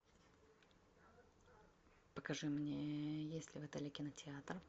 покажи мне есть ли в отеле кинотеатр